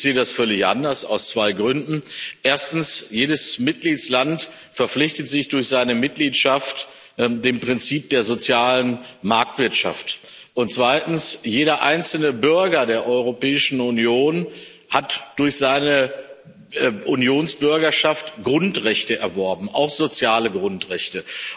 Ich sehe das völlig anders, aus zwei Gründen Erstens, jedes Mitgliedsland verpflichtet sich durch seine Mitgliedschaft dem Prinzip der sozialen Marktwirtschaft, und zweitens, jeder einzelne Bürger der Europäischen Union hat durch seine Unionsbürgerschaft Grundrechte erworben, auch soziale Grundrechte.